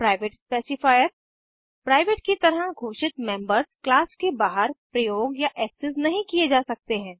private specifier private की तरह घोषित मेम्बर्स क्लास के बाहर प्रयोग या एक्सेस नहीं किये जा सकते हैं